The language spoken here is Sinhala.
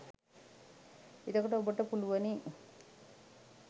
එතකොට ඔබට පුළුවනි